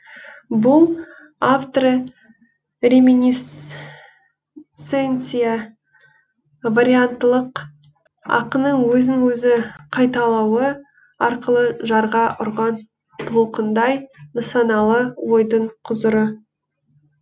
бұл авторы реминисценция варианттылық ақынның өзін өзі қайталауы арқылы жарға ұрған толқындай нысаналы ойдың құзыры